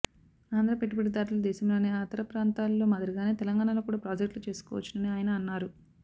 ఆంధ్ర పెట్టుబడిదారులు దేశంలోని అతర ప్రాంతాల్లో మాదిరిగానే తెలంగాణలో కూడా ప్రాజెక్టులు చేసుకోవచ్చునని ఆయన అన్నారు